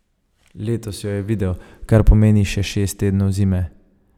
Letos jo je videl, kar pomeni še šest tednov zime.